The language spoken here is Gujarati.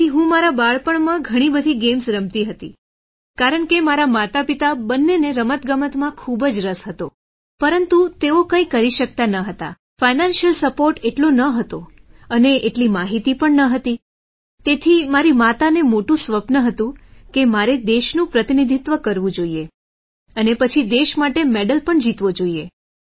તેથી હું મારા બાળપણમાં ઘણી બધી ગેમ્સ રમતી હતી કારણ કે મારા માતાપિતા બંનેને રમતગમતમાં ખૂબ જ રસ હતો પરંતુ તેઓ કંઈ કરી શકતા ન હતા ફાઇનાન્શિયલ સપોર્ટ એટલો ન હતો અને એટલી માહિતી પણ ન હતી તેથી મારી માતાનું મોટું સ્વપ્ન હતું કે મારે દેશનું પ્રતિનિધિત્વ કરવું જોઇએ અને પછી દેશ માટે મેડલ પણ જીતવો જોઇએ